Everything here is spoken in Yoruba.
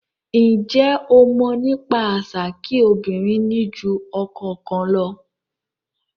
Njé o mọ̀ nípa àṣà kí obìnrin ni jù ọkọ kan lọ?